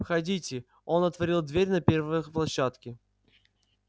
входите он отворил дверь на первой площадке